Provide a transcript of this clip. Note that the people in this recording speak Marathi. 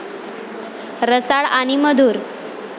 रसाळ आणि मधुर।